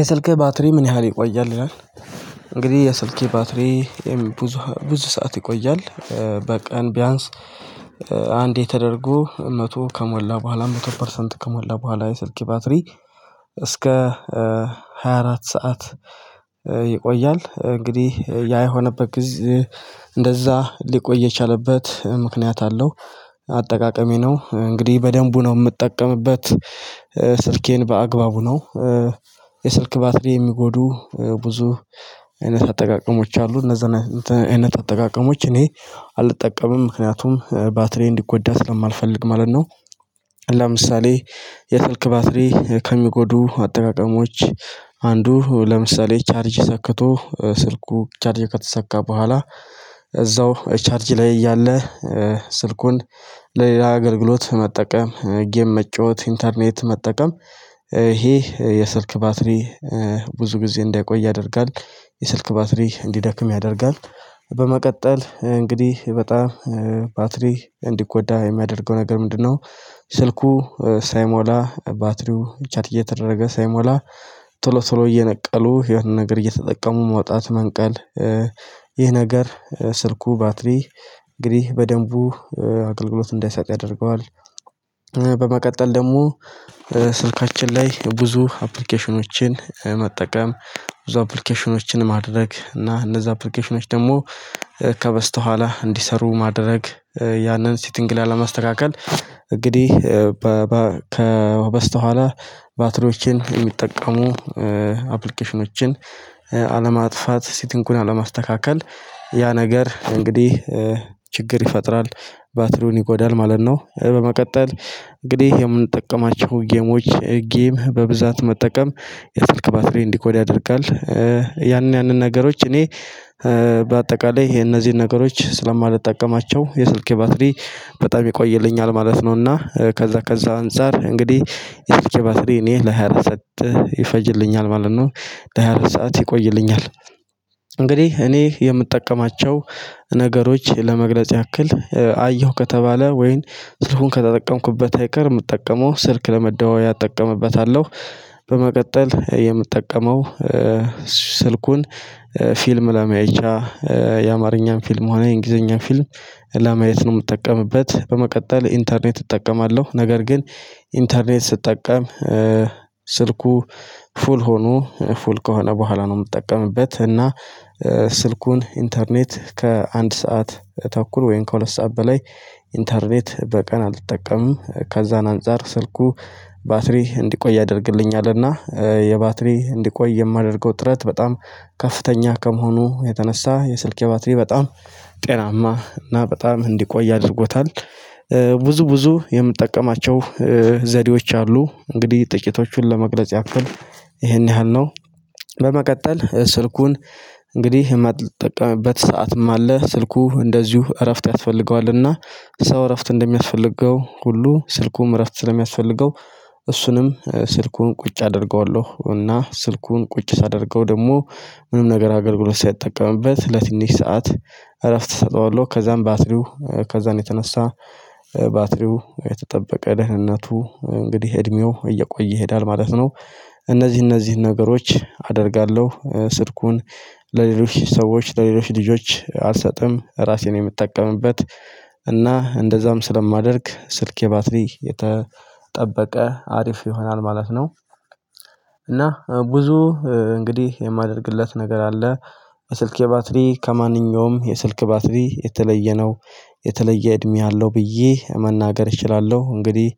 የሰልክህ ባትሪ ምን ያህል ይቆያል ይላል? እንግዲህ የሰልኬ ባትሪ ብዙ ብዙ ሰዓት ይቆያል። በቀን ቢያንስ አንዴ ተደረጎ መቶ ከሞላ በኋላ መቶ ፐርሰንት ከሞላ በኋላ የሰልኬ ባትሪ እስከ ሃያ አራት ሰዓት ይቆያል እንግዲህ ያ የሆነበት ጊዜ እንደዛ ሊቆይ የቻለበት ምክንያት አለው። አጠቃቀሜ ነው እንግዲህ በደንቡ ነው የምጠቀምበት። ስልኬን በአግባቡ ነው። የስልክ ባትሪ የሚጎዱ ብዙ አይነት አጠቃቀሞች አሉ እነዛ አይነት አጠቃቀሞች እኔ አልጠቀምም ምክንያቱም ባትሪዬን እንዲጎዳ ስለማልፈልግ ማለት ነው። ለምሳሌ የስልክ ባትሪ ከሚጎዱ አጠቃቀሞች አንዱ ለምሳሌ ቻርጅ ሰክቶ ስልኩ ቻርጅ ከተሰካ በኋላ እዛው ቻርጅ ላይ እያለ ስልኩን ለሌላ አገልግሎት መጠቀም ጌም መጫወት ኢንተርኔት መጠቀም ይሄ የስልክ ባትሪ ብዙ ጊዜ እንዳይቆይ ያደርጋል። የስልክ ባትሪ እንዲደክም ያደርጋል። በመቀጠል እንግዲህ በጣም ባትሪ እንዲጎዳ የሚያደርገው ነገር ምንድነው? ስልኩ ሳይሞላ ባትሪው ቻርጅ እየተደረገ ሳይሞላ ቶሎ ቶሎ እየነቀሉ የሆነ ነገር እየተጠቀሙ መውጣት መንቀል ይህ ነገር ስልኩ ባትሪ እንግዲህ በደንቡ አገልግሎት እንዳይሰጥ ያደርገዋል። በመቀጠል ደግሞ ስልካችን ላይ ብዙ አፕሊኬሽኖችን መጠቀም ብዙ አፕሊኬሽኖችን ማድረግ እና እነዛ አፕሊኬሽኖች ደግሞ ከበስተኋላ እንዲሰሩ ማድረግ ያንን ሲቲንግ ላለማስተካከል እንግዲህ ከበስተኋላ ባትሪዎቼን የሚጠቀሙ አፕሊኬሽኖችን አለማጥፋት ሲቲንጉን አለማስተካከል ያ ነገር እንግዲህ ችግር ይፈጥራል ባትሪውን ይጎዳል ማለት ነው። በመቀጠል እንግዲህ የምንጠቀማቸው ጌሞች ጌም በብዛት መጠቀም የስልክ ባትሪ እንዲጎዳ ያደርጋል። ያንን ያንን ነገሮች እኔ በአጠቃላይ እነዚህን ነገሮች ስለማልጠቀማቸው የስልኬ ባትሪ በጣም ይቆይልኛል ማለት ነውና ከዛ ከዛ አንፃር እንግዲህ የስልኬ ባትሪ እኔ ለሃያ አራት ሰዓት ይፈጅልኛል ማለት ነው። ለሃያ አራት ሰዓት ይቆይልኛል። እንግዲህ እኔ የምጠቀማቸው ነገሮች ለመግለጽ ያክል አየሁ ከተባለ ወይን ስልኩን ከተጠቀምኩበት አይቀር የምጠቀመው ስልክ ለመደዋወያ እጠቀምበታለሁ። በመቀጠል የምጠቀመው ስልኩን ፊልም ለማያ የአማርኛን ፊልም ሆነ የእንግሊዘኛን ፊልም ለማየት ነው የምጠቀምበት። በመቀጠል ኢንተርኔት እጠቀማለሁ ነገር ግን ኢንተርኔት ስትጠቀም ስልኩ ፉል ሆኖ ፉል ከሆነ በኋላ ነው ምጠቀምበት እና ስልኩን ኢንተርኔት ከአንድ ሰዓት ተኩል ወይም ከሁለት ሰዓት በላይ ኢንተርኔት በቀን አልጠቀምም ከዛን አንፃር ስልኩ ባትሪ እንዲቆይ ያደርግልኛልና የባትሪ እንዲቆይ የማደርገው ጥረት በጣም ከፍተኛ ከመሆኑ የተነሳ የስልኬ ባትሪ በጣም ጤናማ እና በጣም እንዲቆይ አድርጎታል። ብዙ ብዙ የምጠቀማቸው ዘዴዎች አሉ እንግዲህ ጥቂቶቹን ለመግለጽ ያክል ይሄን ያህል ነው። በመቀጠል ስልኩን እንግዲህ የማልጠቀምበት ሰዓትም አለ ስልኩ እንደዚሁ እረፍት ያስፈልገዋልና ሰው እረፍት እንደሚያስፈልገው ሁሉ ስልኩም እረፍት ስለሚያስፈልገው እሱንም ስልኩን ቁጭ አደርገዋለሁ እና ስልኩን ቁጭ ሳደርገው ደግሞ ምንም ነገር አገልግሎት ሳልጠቀምበት ለትንሽ ሰዓት እረፍት እሰጠዋለሁ ከዛም ባትሪው ከዛን የተነሳ ባትሪው የተጠበቀ ደህንነቱ እንግዲህ እድሜው እየቆየ ይሄዳል ማለት ነው። እነዚህ እነዚህን ነገሮች አደርጋለሁ ስልኩን ለሌሎች ሰዎች ለሌሎች ልጆች አልሰጥም ራሴ ነኝ የምጠቀምበት እና እንደዛም ስለማደርግ ስልኬ ባትሪ የተጠበቀ አሪፍ ይሆናል ማለት ነው። እና ብዙ እንግዲህ የማደርግለት ነገር አለ ለስልኬ ባትሪ ከማንኛውም የስልክ ባትሪ የተለየ ነው። የተለየ እድሜ አለው ብዬ መናገር እችላለሁ እንግዲህ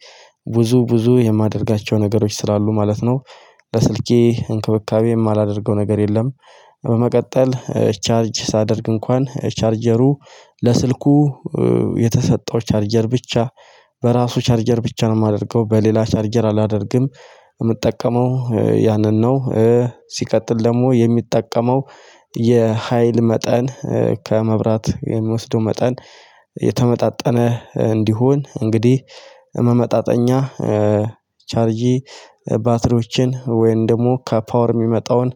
ብዙ ብዙ የማደርጋቸው ነገሮች ስላሉ ማለት ነው። ለስልኬ እንክብካቤ የማላደርገው ነገር የለም። በመቀጠል ቻርጅ ሳደርግ እንኳን ቻርጀሩ ለስልኩ የተሰጠው ቻርጀር ብቻ በራሱ ቻርጀር ብቻ ነው የማደርገው በሌላ ቻርጀር አላደርግም። የምጠቀመው ያንን ነው። ሲቀጥል ደግሞ የሚጠቀመው የሀይል መጠን ከመብራት የሚወስደው መጠን የተመጣጠነ እንዲሆን እንግዲህ መመጣጠኛ ቻርጅ ባትሪዎቼን ወይም ደግሞ ከፓወር የሚመጣውን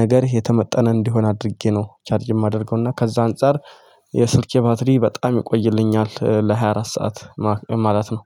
ነገር የተመጠነ እንዲሆን አድርጌ ነው ቻርጅ የማደርገው። እና ከዛ አንፃር የስልኬ ባትሪ በጣም ይቆይልኛል ለሃያ አራት ሰዓት ማለት ነው።